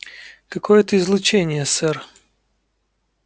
какое-то излучение сэр